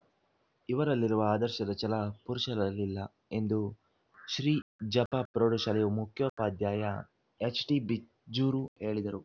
ಇವರಲ್ಲಿರುವ ಆದರ್ಶದ ಛಲ ಪುರುಷರಲ್ಲಿಲ್ಲ ಎಂದು ಶ್ರೀ ಜಫಪ್ರೌಢ ಶಾಲೆಯ ಮುಖ್ಯೋಪಾದ್ಯಾಯ ಹೆಚ್ಟಿಬಿಜ್ಜೂರ ಹೇಳಿದರು